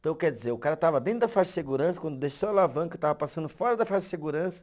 Então, quer dizer, o cara estava dentro da faixa de segurança, quando desceu a alavanca, estava passando fora da faixa de segurança.